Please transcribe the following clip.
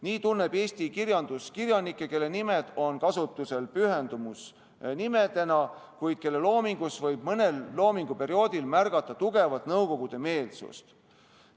Nii tunneb eesti kirjandus kirjanikke, kelle nimed on kasutusel pühendusnimedena, kuid kelle loomingus võib mõnel loominguperioodil märgata tugevat nõukogude-meelsust.